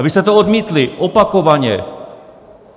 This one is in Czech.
A vy jste to odmítli, opakovaně.